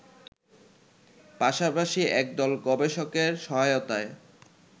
পাশাপাশি একদল গবেষকের সহায়তায়